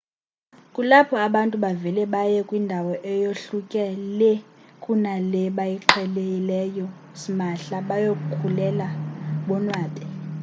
kulapho abantu bavele baye kwindawo eyohluke lee kuna le bayiqhelileyo smahla bayokhululeka bonwabe